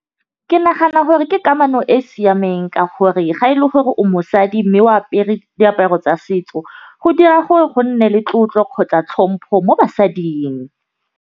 Ke nagana gore ke kamano e siameng ka gore ga e le gore o mosadi, mme o apere diaparo tsa setso go dira gore go nne le tlotlo kgotsa tlhompho mo basading.